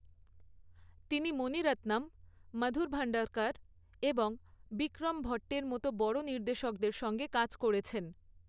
তিনি মণি রত্নম, মধুর ভান্ডারকর এবং বিক্রম ভট্টের মতো বড় নির্দেশকদের সঙ্গে কাজ করেছেন।